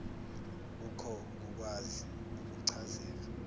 kukho kukwazi ukuchazeka